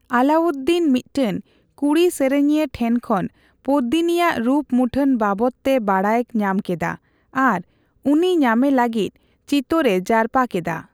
ᱟᱞᱟᱣᱩᱫᱫᱤᱱ ᱢᱤᱫᱴᱮᱱ ᱠᱩᱲᱤ ᱥᱮᱨᱮᱧᱤᱭᱟᱹ ᱴᱷᱮᱱ ᱠᱷᱚᱱ ᱯᱚᱫᱢᱤᱱᱤᱭᱟᱜ ᱨᱩᱯᱼᱢᱩᱴᱷᱟᱹᱱ ᱵᱟᱵᱚᱛᱮ ᱵᱟᱰᱟᱭ ᱧᱟᱢ ᱠᱮᱫᱟ ᱟᱨ ᱩᱱᱤ ᱧᱟᱢᱮ ᱞᱟᱹᱜᱤᱫ ᱪᱤᱛᱳᱨ ᱮ ᱡᱟᱨᱯᱟ ᱠᱮᱫᱟ ᱾